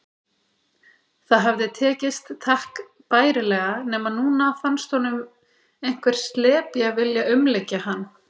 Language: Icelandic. Það hafði tekist takk bærilega, nema núna fannst honum einhver slepja vilja umlykja hann.